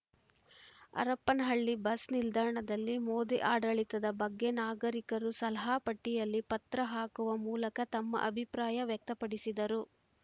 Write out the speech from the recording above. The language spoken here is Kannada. ಹರಪನಹಳ್ಳಿ ಬಸ್‌ ನಿಲ್ದಾಣದಲ್ಲಿ ಮೋದಿ ಆಡಳಿತದ ಬಗ್ಗೆ ನಾಗರಿಕರು ಸಲಹಾ ಪೆಟ್ಟಿಗೆಯಲ್ಲಿ ಪತ್ರ ಹಾಕುವ ಮೂಲಕ ತಮ್ಮ ಅಭಿಪ್ರಾಯ ವ್ಯಕ್ತಪಡಿಸಿದರು